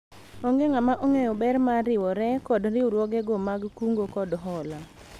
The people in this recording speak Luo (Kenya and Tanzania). onge ng'ama ong'eyo ber mar riwore kod riwruogego mag kungo kod hola